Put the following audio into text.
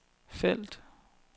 felt